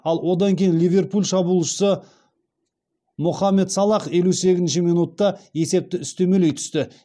ал одан кейін ливерпуль шабуылшысы мохамед салах елу сегізінші минутта есепті үстемелей түсті